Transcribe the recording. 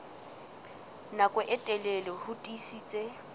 nako e telele ho tiisitse